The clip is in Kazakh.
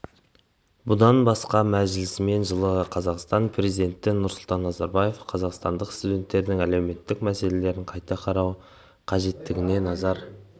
бұдан басқа мәжілісмен жылы қазақстан президенті нұрсұлтан назарбаев қазақстандық студенттердің әлеуметтік мәселелерін қайта қарау қажеттігіне назар